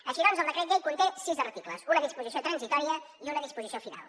així doncs el decret llei conté sis articles una disposició transitòria i una disposició final